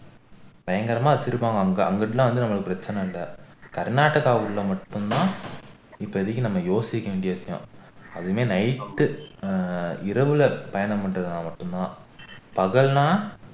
பயங்கரமா வச்சிருப்பாங்க அங்க அங்கிட்டுல்லாம் வந்து நமக்கு பிரச்சனை இல்ல கர்நாடகாக்குள்ள மட்டும்தான் இப்போதைக்கு நம்ம யோசிக்க வேண்டியிருக்கும் அதுவுமே night ஆஹ் இரவுல பயணம் பண்றதுனால மட்டும்தான் பகல்னா